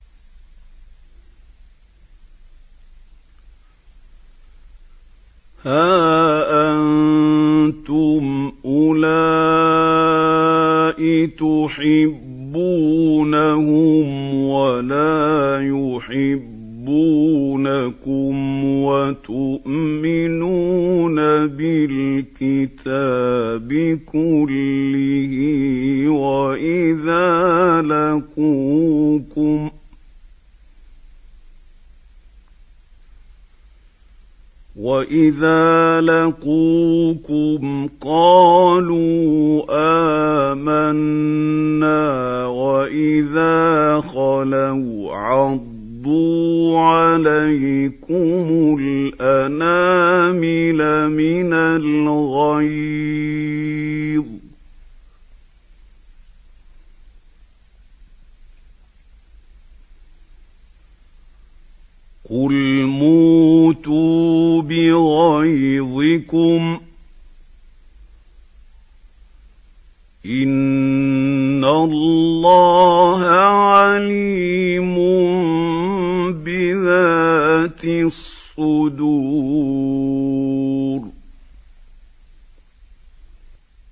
هَا أَنتُمْ أُولَاءِ تُحِبُّونَهُمْ وَلَا يُحِبُّونَكُمْ وَتُؤْمِنُونَ بِالْكِتَابِ كُلِّهِ وَإِذَا لَقُوكُمْ قَالُوا آمَنَّا وَإِذَا خَلَوْا عَضُّوا عَلَيْكُمُ الْأَنَامِلَ مِنَ الْغَيْظِ ۚ قُلْ مُوتُوا بِغَيْظِكُمْ ۗ إِنَّ اللَّهَ عَلِيمٌ بِذَاتِ الصُّدُورِ